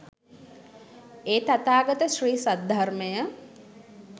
ඒ තථාගත ශ්‍රී සද්ධර්මය